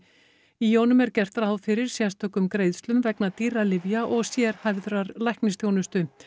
í honum er gert ráð fyrir sérstökum greiðslum vegna dýrra lyfja og sérhæfðrar læknisþjónustu